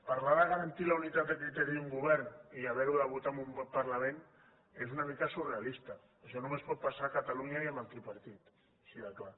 parlar de garantir la unitat de criteri d’un govern i haver ho de votar en un parlament és una mica surrealista això només pot passar a catalunya i amb el tripartit així de clar